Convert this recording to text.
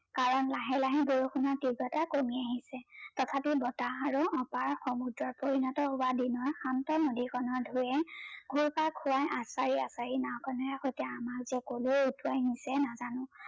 ধ্লাহে লাহে বৰষুনৰ তীব্ৰতা কমি আহিছে তথাপি বতাহ আৰু অপাৰ সমুদ্ৰত পৰিনত হোৱা দিনৰ শান্ত নদী খনৰ ঢৌয়ে ঘোৰ পাক খোৱাই এচাৰি এচাৰি নাও খনেৰে সৈতে যে আমাক যে কলৈ উতোৱাই নিছে নাজানো